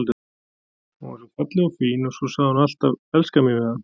Hún var svo falleg og fín og svo sagði hún alltaf elskan mín við hann.